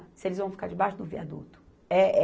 Se eles vão ficar debaixo do viaduto.